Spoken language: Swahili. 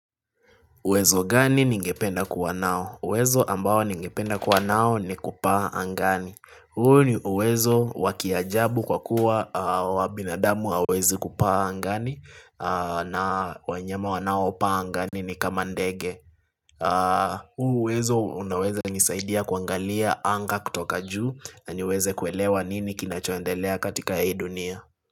Uwezo gani ningependa kuwa nao? Uwezo ambao ningependa kuwa nao ni kupaa angani. Huu ni uwezo wa kiajabu kwa kuwa wabinadamu hawawezi kupaa angani na wanyama wanao upaa angani ni kama ndege. Huu uwezo unaweza nisaidia kuangalia anga kutoka juu na niweze kuelewa nini kinachoendelea katika hii dunia.